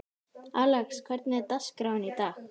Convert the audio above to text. Alex, hvernig er dagskráin í dag?